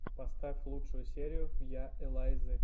поставь лучшую серию я элайзы